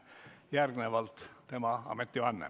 Järgnevalt tema ametivanne.